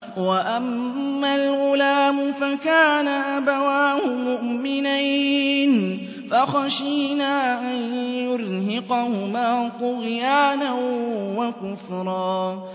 وَأَمَّا الْغُلَامُ فَكَانَ أَبَوَاهُ مُؤْمِنَيْنِ فَخَشِينَا أَن يُرْهِقَهُمَا طُغْيَانًا وَكُفْرًا